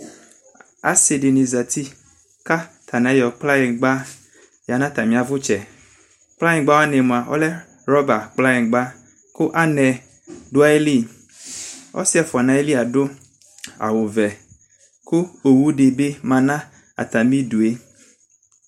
Ase de ne zati ko atane ayɔ kplanyingba ya atane avatsɛ Kplanyingba wane moa ɔlɛ rɔba kplanyingba ko anɛ do ayiliƆse ɛfua no ayili ado awuvɛ, ko owu de be ma no atame due